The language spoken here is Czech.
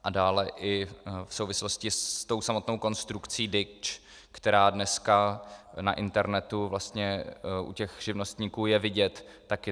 A dále i v souvislosti s tou samotnou konstrukcí DIČ, která dneska na internetu vlastně u těch živnostníků je vidět taky.